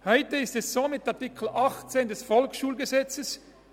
Heute ist es mit Artikel 18 VSG so: